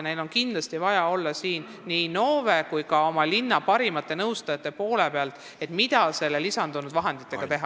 Neil on kindlasti vaja nii Innove kui ka oma linna parimate nõustajatega suhelda, et teada saada, mida lisandunud vahenditega teha.